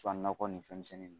nakɔ nin fɛnmisɛnnin ninnu